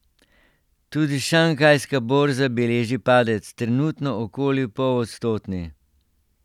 Tudi šanghajska borza beleži padec, trenutno okoli polodstotni.